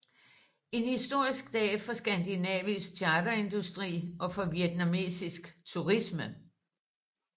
En historisk dag for skandinavisk charterindustri og for vietnamesisk turisme